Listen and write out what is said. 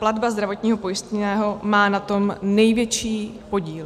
Platba zdravotního pojistného má na tom největší podíl.